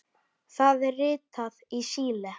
Það er ritað Síle.